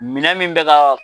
Minɛn min bɛ ka